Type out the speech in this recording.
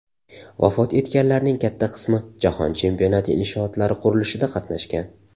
Vafot etganlarning katta qismi Jahon Chempionati inshootlari qurilishida qatnashgan.